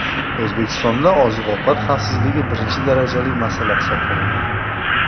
O‘zbekistonda oziq-ovqat xavfsizligi birinchi darajali masala hisoblanadi.